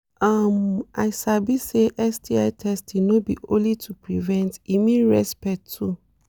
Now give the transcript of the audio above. um i sabi say sti testing no be only to prevent e mean respect too